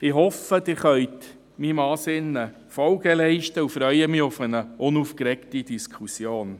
Ich hoffe, Sie können meinem Ansinnen Folge leisten, und freue mich auf eine unaufgeregte Diskussion.